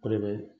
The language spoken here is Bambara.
O de bɛ